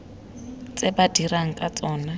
tse ba dirang ka tsona